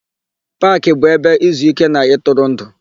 Paakị bụ ebe izuíké na ịtụrụndụ.